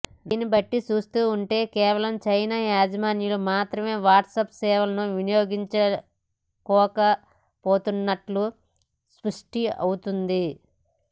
దీనిబట్టి చూస్తుంటే కేవలం చైనా యాజర్లు మాత్రమే వాట్సాప్ సేవలను వినియోగించుకోలేకపోతున్నట్లు స్పష్టమవుతోంది